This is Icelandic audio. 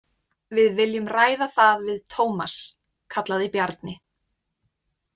Við viljum ræða það við Tómas, kallaði Bjarni.